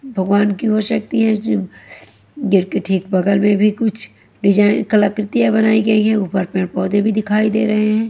भगवान की हो सकती है गेट के ठीक बगल में भी कुछ डिज़ाइन कलाकृतियाँं बनाई गई है ऊपर पेड़-पौधे भी दिखाई दे रहे हैं।